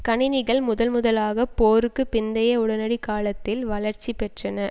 கணினிகள் முதன் முதலாக போருக்கு பிந்தைய உடனடி காலத்தில் வளர்ச்சி பெற்றன